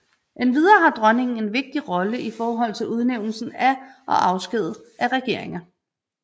Endvidere har dronningen en vigtig rolle i forhold til udnævnelse af og afsked af regeringer